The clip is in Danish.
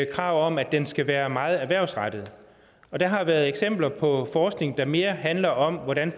krav om at den skal være meget erhvervsrettet og der har været eksempler på forskning der mere handlede om hvordan